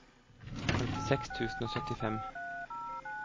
femtiseks tusen og syttifem